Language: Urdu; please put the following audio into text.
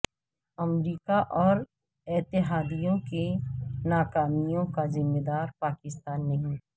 امریکہ اور اتحادیوں کی ناکامیوں کا ذمہ دار پاکستان نہیں